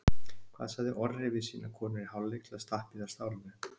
Hvað sagði Orri við sínar konur í hálfleik til að stappa í þær stálinu?